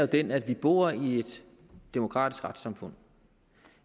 den at vi bor i et demokratisk retssamfund